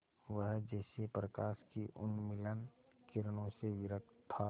वह जैसे प्रकाश की उन्मलिन किरणों से विरक्त था